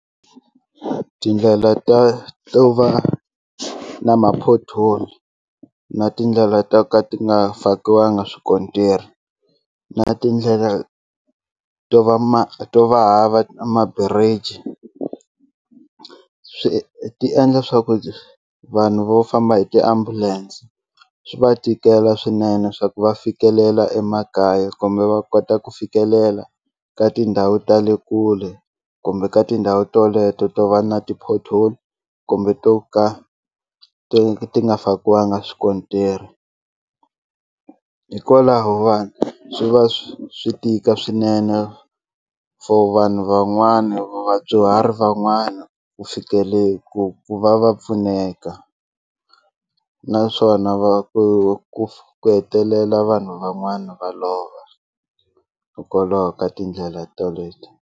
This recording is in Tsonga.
Tindlela ta to va na ma-pothole na tindlela to ka ti nga fakiwanga swikontiri na tindlela to va ma to va hava maburiji swi ti endla swa ku vanhu vo famba hi tiambulense swi va tikela swinene swa ku va fikelela emakaya kumbe va kota ku fikelela ka tindhawu ta le kule kumbe ka tindhawu teleto to va na ti-pothole kumbe to ka ti ti nga fakiwanga swikontiri hikwalaho vanhu swi va swi tika swinene for vanhu van'wana vadyuhari van'wana ku fikelela ku ku va va pfuneka naswona va ku ku ku hetelela vanhu van'wana va lova hikokwalaho ka tindlela teleto.